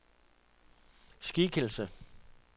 skikkelse